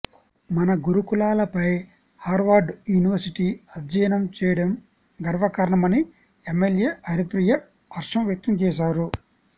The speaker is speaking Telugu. మన గురుకులాలపై హార్వర్డ్ యూనివర్సటీ అధ్యయనం చేయడం గర్వకారణమని ఎంఎల్ఎ హరిప్రియ హర్షం వ్యక్తం చేశారు